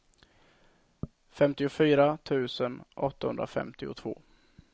femtiofyra tusen åttahundrafemtiotvå